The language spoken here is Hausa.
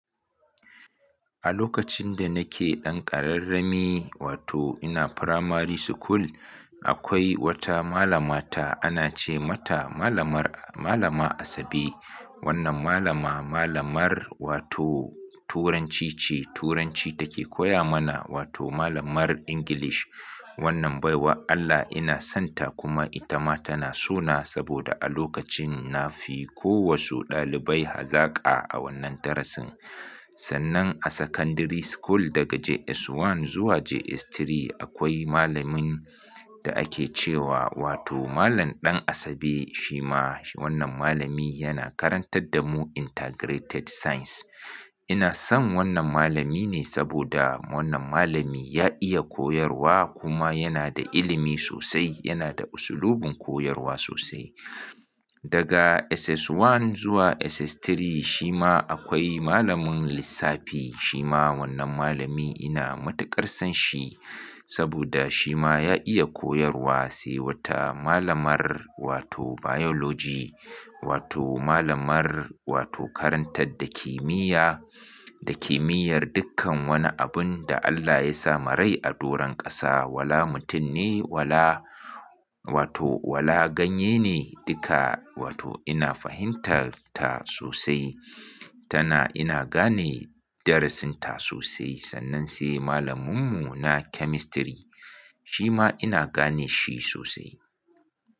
A lokacin da nake ɗan ƙararrami, wato ina firamari school, akwai wata malama ta ana ce mata malamar, malama Asabe. Wannan malama, malamar wato turanci ce, turanci take koya mana wato malamar English. Wannan baiwa Allah ina sonta, kuma ita ma tana so na, saboda a lokacin na fi ko wasu ɗalibai hazaƙa, a wannan darasin. Sannan a secondary school, daga JS1 zuwa JS3, akwai malamin da ake cewa, wato malam ɗan Asabe, shima wannan malami, yana karantar da mu integrated science. Ina son wannan malami ne saboda wannan malami ya iya koyarwa kuma yana da ilimi sosai, yana da usulubin koyarwa sosai. Daga SS1 zuwa SS3, shi ma akwai malamin lissafi shima wannan malami, ina matuƙar son shi. Saboda shi ma ya iya koyarwa, sai wata malamar wato biology, wato malamar wato karantar da kimiyya, da kimiyyar dukkan wani abun da Allah ya sa ma rai, a doron ƙasa, wala mutum ne, wala, wato wala ganye ne duka wato ina fahimtar ta sosai. Tana ina gane darasin ta sosai, sannan sai malaminmu na chemistry. Shi ma ina gane shi sosai.